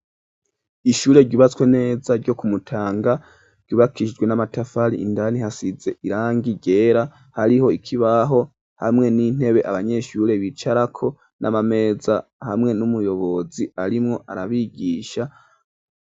Ishure ryubatswe neza, ryo ku Mutanga, ryubakishijwe n'amatafari; indani hasize irangi ryera, hariho ikibaho, hamwe n'intebe, abanyeshure bicarako, n'amameza, hamwe n'umuyobozi, arimwo arabigisha.